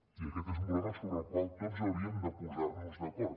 i aquest és un problema sobre el qual tots hauríem de posar nos d’acord